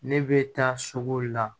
Ne bɛ taa suguw la